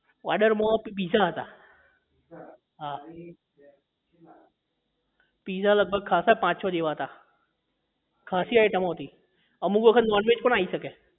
ઓર્ડરમાં માં તો પિઝા હતા હા પિઝા લગભગ ખાસા પાંચ છ જેવા હતા ખાસી આઇટમો હતી અમુક વખત નોનવેજ પણ આવી શકે